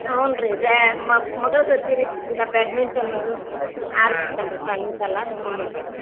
ಹುನ್ರೀ ಬ್ಯಾ~ ಮ~ ಮಗಳ್ ಜೊತೆರಿ ಇಂತ Badminton ಅದು ಆಡತಿರತೇನ್ರಿ ಸಾಯಂಕಾಲ ಹುನ್ರೀ